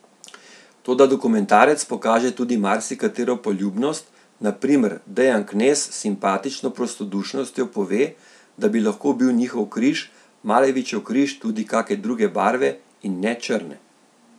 Toda dokumentarec pokaže tudi marsikatero poljubnost, na primer Dejan Knez s simpatično prostodušnostjo pove, da bi lahko bil njihov križ, Malevičev križ tudi kake druge barve in ne črne.